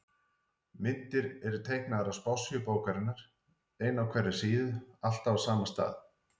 Myndir eru teiknaðar á spássíu bókarinnar, ein á hverja síðu, alltaf á sama stað.